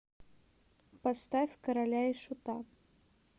поставь короля и шута